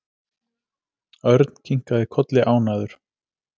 Örn kinkaði kolli ánægður.